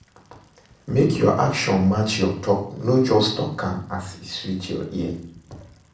mek yur action match yur tok, no just tok mek e sweet ear